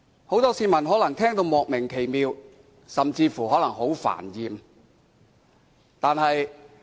很多市民可能聽得莫名其妙，甚至感到煩厭。